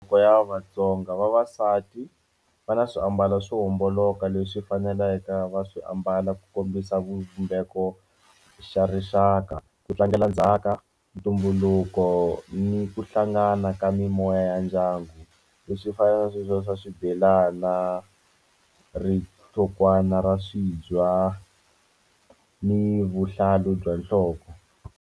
Ya Vatsonga vavasati va na swiambalo swo homboloka leswi faneleke va swi ambala ku kombisa vumbeke xo xa rixaka ku tlangela ndzhaka ntumbuluko ni ku hlangana ka mimoya ya ndyangu leswi fana na swiswiya swa swibelana rihlokwana ra swibya ni vuhlalu bya nhloko.